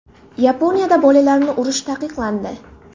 Yaponiyada bolalarni urish taqiqlandi.